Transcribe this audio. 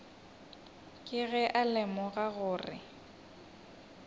ke ge a lemoga gore